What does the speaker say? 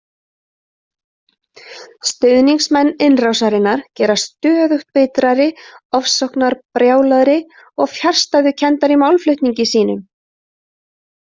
Stuðningsmenn innrásarinnar gerast stöðugt bitrari, ofsóknarbrjálaðri og fjarstæðukenndari í málflutningi sínum.